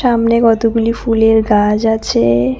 সামনে কতগুলি ফুলের গাছ আছে।